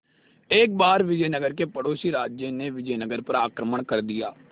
एक बार विजयनगर के पड़ोसी राज्य ने विजयनगर पर आक्रमण कर दिया